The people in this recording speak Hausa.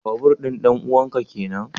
Babur din danuwan ka kenan?